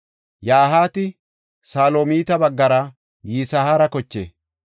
Yahaati Salomita baggara Yisihaara koche.